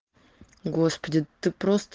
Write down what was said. господи ты прост